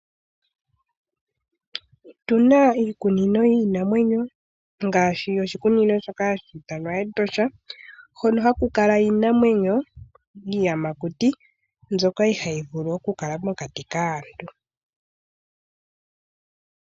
Otuna iikunino yiinamwenyo ngaashi oshikunino shoka hashi ithanwa Etosha, hono ha ku kala iinamwenyo, iiyamakuti mbyoka iha yi vulu oku kala mokati kaantu.